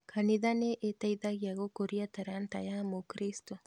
Kanitha nĩĩteithagia gũkũria taranda ya mũkristo